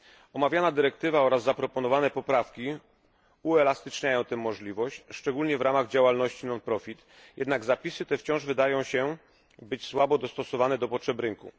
Omawiana dyrektywa oraz zaproponowane poprawki uelastyczniają tę możliwość, szczególnie w ramach działalności non profit jednak zapisy te wydają się być słabo dostosowane do potrzeb rynku.